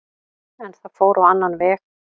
En það fór á annan veg.